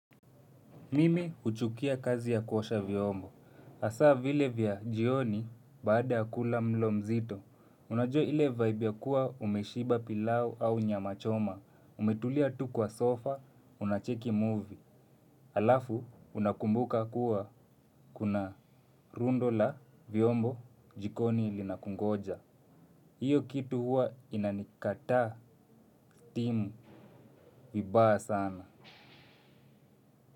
Mimi huchukia kazi ya kuosha vyombo. Hasa vile vya jioni baada ya kula mlo mzito. Unajua ile vaibu ya kuwa umeshiba pilau au nyamachoma. Umetulia tu kwa sofa, unacheki movie. Halafu, unakumbuka kuwa kuna rundo la vyombo jikoni linakungoja. Hiyo kitu huwa inanikata stimu vibaya sana.